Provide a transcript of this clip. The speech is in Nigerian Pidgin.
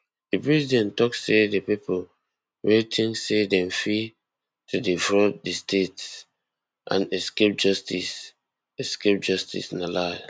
di president tok say di pipo wey tink say dem fit to defraud di state and escape justice escape justice na lie